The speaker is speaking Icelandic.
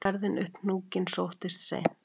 Ferðin upp hnúkinn sóttist seint